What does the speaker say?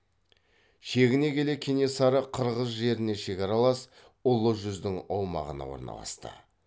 шегіне келе кенесары қырғыз жеріне шекаралас ұлы жүздің аумағына орналасты